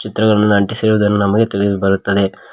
ಚಿತ್ರಗಳನ್ನು ಅಂಟಿಸಿರುವುದನ್ನು ನಮಗೆ ತಿಳಿದು ಬರುತ್ತದೆ.